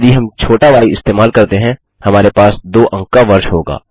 यदि हम छोटा य इस्तेमाल करते हैं हमारे पास 2 अंक का वर्ष होगा